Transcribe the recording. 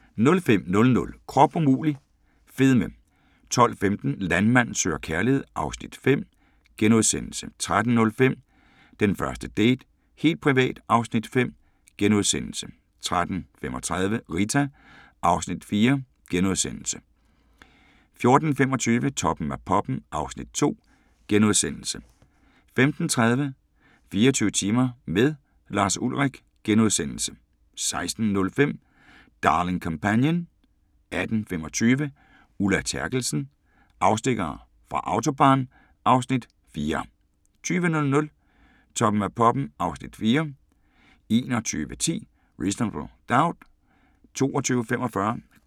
05:00: Krop umulig – fedme 12:15: Landmand søger kærlighed (Afs. 5)* 13:05: Den første date - helt privat (Afs. 5)* 13:35: Rita (Afs. 4)* 14:25: Toppen af poppen (Afs. 2)* 15:30: 24 timer med Lars Ulrich * 16:05: Darling Companion 18:25: Ulla Terkelsen - afstikkere fra Autobahn (Afs. 4) 20:00: Toppen af poppen (Afs. 4) 21:10: Reasonable Doubt